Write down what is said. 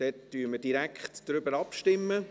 – Dann stimmen wir direkt darüber ab.